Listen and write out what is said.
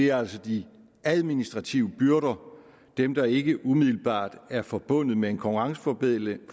er altså de administrative byrder dem der ikke umiddelbart er forbundet med en konkurrenceforbedring